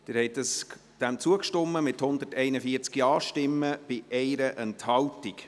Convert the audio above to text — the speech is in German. Sie haben dem zugestimmt, mit 141 Ja-Stimmen bei 1 Enthaltung.